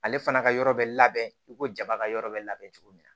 Ale fana ka yɔrɔ bɛ labɛn i ko jama ka yɔrɔ bɛ labɛn cogo min na